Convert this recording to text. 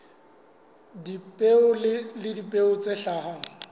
dipeo le dipeo tse hlahang